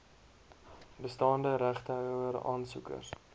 bestaande regtehouer aansoekers